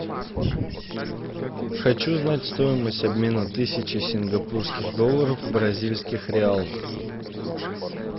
хочу знать стоимость обмена тысячи сингапурских долларов в бразильских реалах